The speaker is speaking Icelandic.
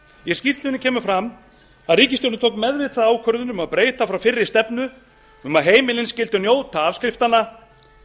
í skýrslunni kemur fram að ríkisstjórnin tók meðvitaða ákvörðun um að breyta frá fyrri stefnu um að heimilin skyldu njóta afskriftanna